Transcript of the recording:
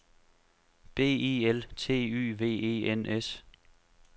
B I L T Y V E N S